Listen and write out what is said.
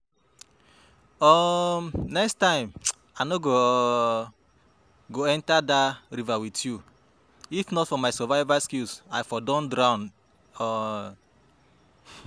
um Next time I no um go enter dat river with you. If not for my survival skills I for don drown um